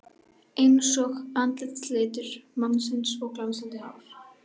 Einsog andlitslitur mannsins og glansandi hár.